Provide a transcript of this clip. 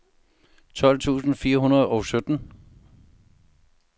tolv tusind fire hundrede og sytten